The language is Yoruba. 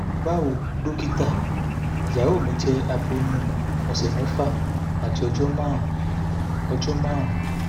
bawo dokita iyawo mi jẹ aboyun ọsẹ mẹfa ati ọjọ marun ọjọ marun